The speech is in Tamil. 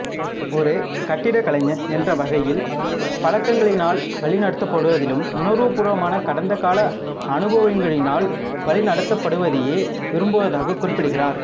ஒரு கட்டிடக்கலைஞன் என்றவகையில் பழக்கங்களினால் வழிநடத்தப்படுவதிலும் உணர்வுபூர்வமான கடந்தகால அனுபவங்களினால் வழி நடத்தப்படுவதையே விரும்புவதாகக் குறிப்பிட்டார்